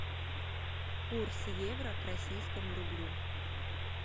курс евро к российскому рублю